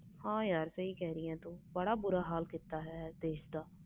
ਹਾਂ ਯਾਰ ਸਹੀ ਕਹਿ ਰਹੀ ਤੂੰ ਬਹੁਤ ਬੁਰਾ ਹਾਲ ਕੀਤਾ ਦੇਸ ਦਾ